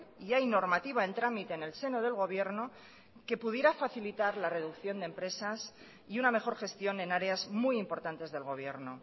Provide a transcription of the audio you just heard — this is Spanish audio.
y hay normativa en tramite en el seno del gobierno que pudiera facilitar la reducción de empresas y una mejor gestión en áreas muy importantes del gobierno